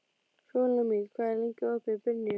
Súlamít, hvað er lengi opið í Brynju?